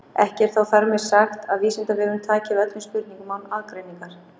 Ekki er þó þar með sagt að Vísindavefurinn taki við öllum spurningum án aðgreiningar.